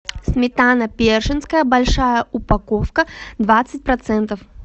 сметана пешинская большая упаковка двадцать процентов